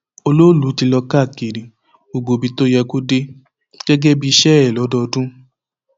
olọọlù ti lọ káàkiri gbogbo ibi tó yẹ kó dé gẹgẹ bíi iṣẹ ẹ lọdọọdún